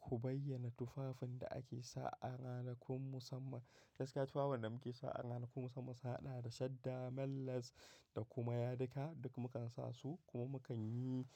Ku bayyana tufafin da ake sawa ranakun musamman. Gaskiya tufafin da muke sawa ranakun musamman su haɗa da shadda, men lace da kuma yadika duk mukan sasu kuma mukanyi,